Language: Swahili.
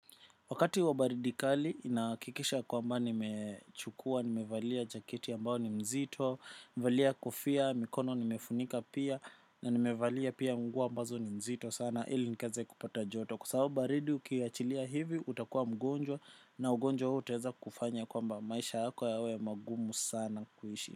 Wakati wa baridi kali nahakikisha kwamba nimechukua, nimevalia jaketi ambao ni mzito, nimevalia kofia, mikono nimefunika pia na nimevalia pia nguo ambazo ni mzito sana ili nikaeze kupata joto. Kwa sababu baridi ukiachilia hivi utakuwa mgonjwa na ugonjwa huo uateza kufanya kwamba maisha hako yawe magumu sana kuishi.